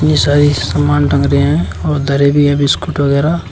ये बहुत सारी समान टंग रहे हैं और धरे भी है बिस्कुट वगैरा।